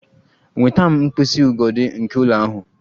Nweta m mkpịsị ugodi nke ụlọ ahụ!